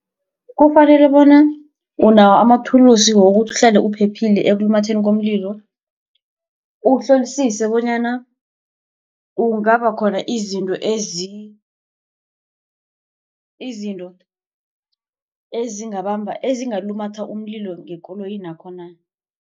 Kufanele bona unawo amathulusi wokuhlala uphephile ekulumatheni komlilo. Uhlolisise bonyana kungaba khona izinto izinto ezingabamba ezingalumatha umlilo ngekoloyinakho na.